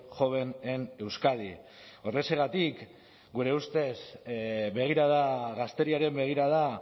joven en euskadi horrexegatik gure ustez begirada gazteriaren begirada